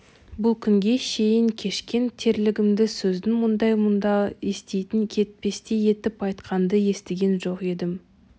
бұл күнге шейін кешкен тірлігімде сіздің мұндай мұңды естен кетпестей етіп айтқанды естіген жоқ едім